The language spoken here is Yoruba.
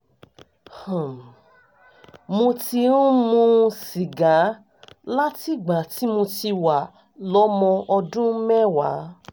um mo ti ń mu sìgá látìgbà tí mo ti wà lọ́mọ ọdún mẹ́wàá